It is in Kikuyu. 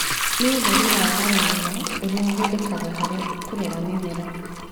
Nĩ ũtheri wa goro mũno, ũrĩa ũhũthĩkaga harĩ kũrera mĩmera.